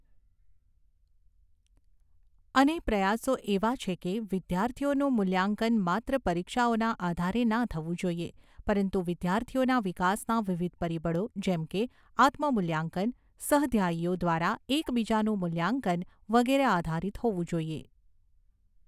અને પ્રયાસો એવા છે કે, વિદ્યાર્થીઓનું મૂલ્યાંકન માત્ર પરીક્ષાઓના આધારે ના થવું જોઈએ પરંતુ વિદ્યાર્થીઓના વિકાસના વિવિધ પરિબળો જેમ કે, આત્મ મૂલ્યાંકન, સહધ્યાયીઓ દ્વારા એકબીજાનું મૂલ્યાંકન વગેરે આધારિત હોવું જોઈએ.